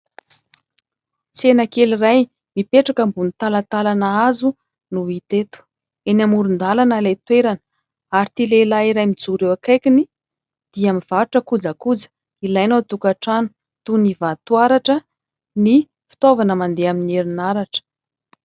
Tsena kely iray mipetraka ambony talantalana hazo no hita eto; eny amoron-dalana ilay toerana ary ity lehilahy iray mijoro eo akaikiny, dia mivarotra kojakoja ilaina ao an-tokantrano toy ny vatoaratra ny fitaovana mandeha amin'ny herinaratra.